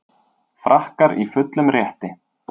Frakkar í fullum rétti